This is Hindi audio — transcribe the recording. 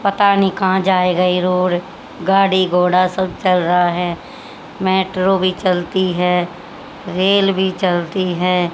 पता नहीं कहां जाएगा ये रोड गाड़ी घोड़ा सब चल रहा है मेट्रो भी चलती है रेल भी चलती है।